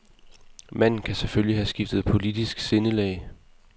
Manden kan selvfølgelig have skiftet politisk sindelag.